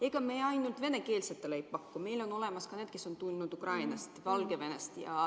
Ega me ainult venekeelsetele ei paku, meil on olemas ka inimesed, kes on tulnud näiteks Ukrainast ja Valgevenest.